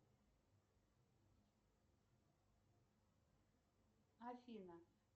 афина